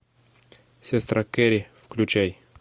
сестра керри включай